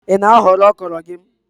Ị na-aghọ ọkrọ gị?